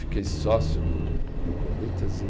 Fiquei sócio do do Corinthians em